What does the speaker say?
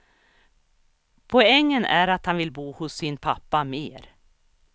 Poängen är att han vill bo hos sin pappa mer.